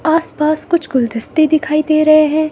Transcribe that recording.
आस-पास कुछ गुलदिस्ते दिखाई दे रहे हैं।